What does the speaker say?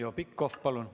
Heljo Pikhof, palun!